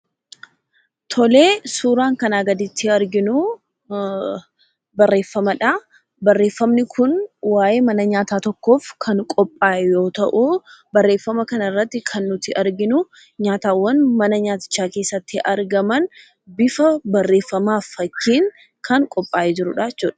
Tolee, suuraan kanaa gaditti arginuu barreeffamadhaa. Barreeffamni kun waa'ee mana nyaataa tokkoof kan qophaa'e yoo ta'uu barreeffama kanarratti kan nuti arginuu nyaatawwan mana nyaatichaa keessatti argaman bifa barreeffamaaf fakkiin kan qophaa'ee jirudhaa jechuudha.